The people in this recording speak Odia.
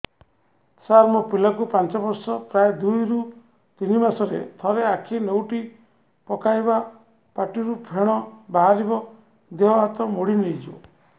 ସାର ମୋ ପିଲା କୁ ପାଞ୍ଚ ବର୍ଷ ପ୍ରାୟ ଦୁଇରୁ ତିନି ମାସ ରେ ଥରେ ଆଖି ନେଉଟି ପକାଇବ ପାଟିରୁ ଫେଣ ବାହାରିବ ଦେହ ହାତ ମୋଡି ନେଇଯିବ